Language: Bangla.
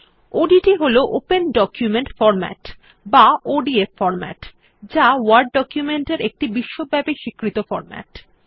ওডিটি হল ওপেন ডকুমেন্ট ফরম্যাট বা ওডিএফ ফরম্যাট যা ওয়ার্ড ডকুমেন্ট এর একটি বিশ্বব্যাপী স্বীকৃত ফরম্যাট